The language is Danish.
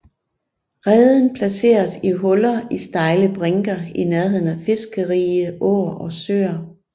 Reden placeres i huller i stejle brinker i nærheden af fiskerige åer og søer